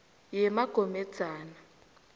yemagomedzana